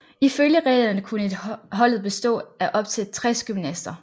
Ifølge reglerne kunne et holdet bestå af op til 60 gymnaster